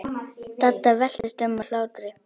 Dadda veltist um af hlátri.